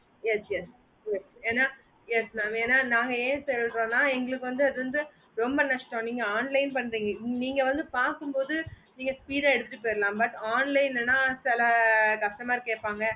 yes yes yes என yes mam என நாங்க என் சொல்லறோம்னா எங்களுக்கு வந்து ரொம்ப நஷ்டம் நீங்க online பண்றீங்க நீங்க வந்து பாக்கும்போது speed ஆஹ் எடுத்துட்டு போய்டலாம் but online லீனா சேலா customer கேப்பாங்க